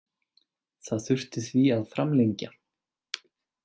Það þurfti því að framlengja.